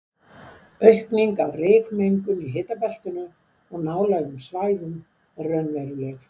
Aukning á rykmengun í hitabeltinu og nálægum svæðum er raunveruleg.